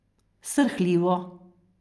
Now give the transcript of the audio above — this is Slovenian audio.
Srhljivo...